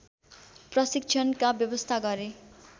प्रशिक्षणका व्यवस्था गरे